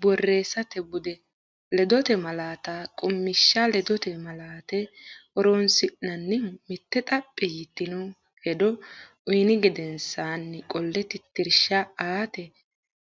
Borreessate Bude: Ledote Malaate Qummishsha Ledote malaate horonsi’nannihu: mitte xaphi yitino hedo uyni gedensaanni qolle tittirsha aate,